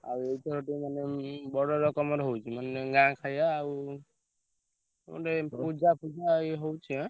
ଆଉ ସେଇଠୁ ମାନେ ଉଁ ବଡ ରକମର ହଉଛି ମାନେ ଗାଁ ଖାୟା ଆଉ ଗୋଟେ ପୂଜା ଫୁଜା ଇଏ ହଉଛି ଏଁ।